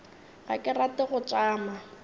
ga ke rate go tšama